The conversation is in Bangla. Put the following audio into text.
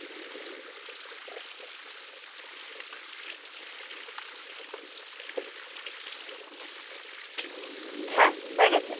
হ্যাঁ হয়ে গেছে।